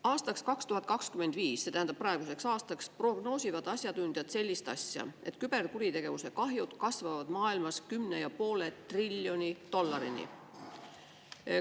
Aastaks 2025, see tähendab praeguseks aastaks, prognoosivad asjatundjad sellist asja, et küberkuritegevuse kahjud kasvavad maailmas 10,5 triljoni dollarini.